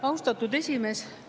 Austatud esimees!